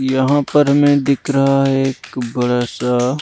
यहां पर हमें दिख रहा है एक बड़ा सा--